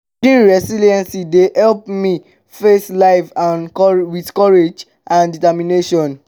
building resilience dey help me face life with courage and determination.